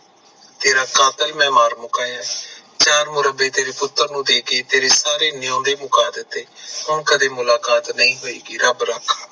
ਤੇਰਾ ਕਾਤਿਲ ਮੈਂ ਮਾਰ ਮੁਕਾਇਆ ਹੈ, ਚਾਰ ਮੁਰੱਬੇ ਤੇਰੇ ਪੁੱਤਰ ਨੂੰ ਦਿਤੇ, ਤੇਰੇ ਸਾਰੇ ਨਿਯੋਨਦੇ ਮੁਕਾ ਦਿਤੇ, ਹੁਣ ਕਦੇ ਮੁਲਾਕਾਤ ਨਹੀਂ ਹੋਏਗੀ ਰੱਬ ਰਾਖਾ